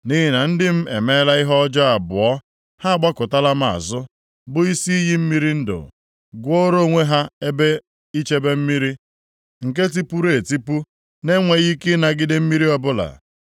“Nʼihi na ndị m emeela ihe ọjọọ abụọ. Ha agbakụtala m azụ, bụ Isi iyi mmiri ndụ, gwuoro onwe ha ebe ichebe mmiri nke tipuru etipu na-enweghị ike ịnagide mmiri ọbụla.